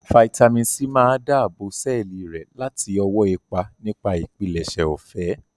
Fáítámì sí máa dáàbò sẹ́ẹ̀lì rẹ láti ọwọ́ ipa nipa ìpilẹ̀ṣẹ̀ ọ̀fẹ́